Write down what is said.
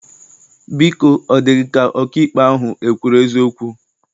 Biko, ọ dị gị ka ọkaikpe ahụ ekwuru eziokwu?